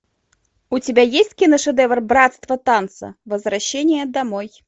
у тебя есть киношедевр братство танца возвращение домой